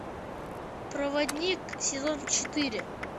проводник сезон четыре